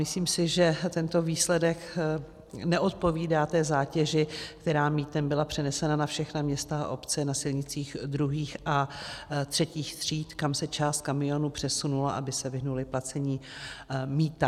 Myslím si, že tento výsledek neodpovídá té zátěži, která mýtem byla přenesena na všechna města a obce na silnicích II. a III. tříd, kam se část kamionů přesunula, aby se vyhnuly placení mýta.